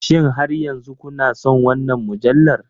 Shin har yanzu kuna son wannan mujallar?